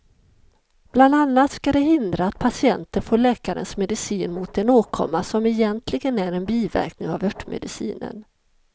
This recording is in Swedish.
Bland annat ska det hindra att patienter får läkarens medicin mot en åkomma som egentligen är en biverkning av örtmedicinen.